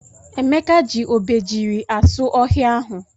Emeka ji obejiri asụ ohia ahụ.